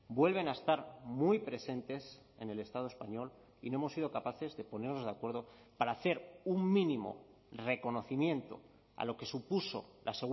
vuelven a estar muy presentes en el estado español y no hemos sido capaces de ponernos de acuerdo para hacer un mínimo reconocimiento a lo que supuso la